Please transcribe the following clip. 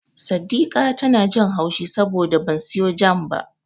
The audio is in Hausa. Saddika tana jin haushi saboda ban siyo Jam ba.